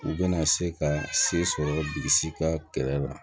U bɛna se ka se sɔrɔ bilisi ka kɛlɛ la